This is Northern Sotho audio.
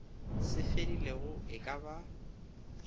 se fedilego e ka ba